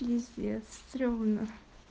пиздец стремно